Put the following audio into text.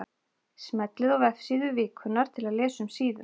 Smellið á Vefsíða vikunnar til að lesa um síðuna.